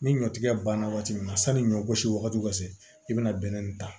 Ni ɲɔtigɛ banna waati min na sanni ɲɔ gosi wagati ka se i bɛna bɛnɛ nin ta